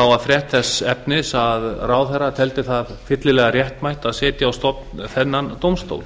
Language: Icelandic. var frétt þess efnis að ráðherra teldi það fyllilega réttmætt að setja á stofn þennan dómstól